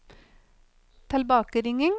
tilbakeringing